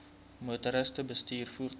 motoriste bestuur voertuie